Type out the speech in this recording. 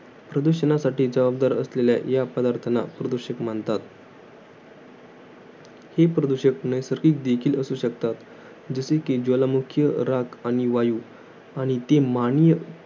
प्रदुषणासाठी जवाबदार असणाऱ्या या घटकांना प्रदूषक म्हणतात. ही प्रदूषक नैसर्गिक देखील असू शकतात. जसे कि ज्वालामुखीय, राख आणि वायू आणि ते माणिय